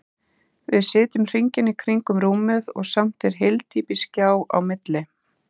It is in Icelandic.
Við sitjum hringinn í kring um rúmið og samt er hyldýpisgjá á milli.